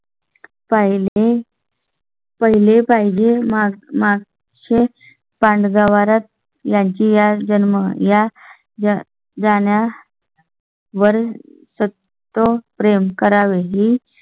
पहिले पाहिजे मागचे पाण्यावरच यांच्या जन्म या जाण्या वर प्रेम करावे ही